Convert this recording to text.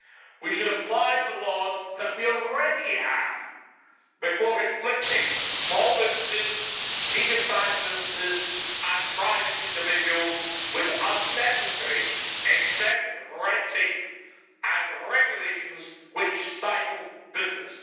We should apply the laws that we already have before inflicting small businesses, medium sized businesses and private individuals with unnecessarily excessive red tape and regulations which stifle business.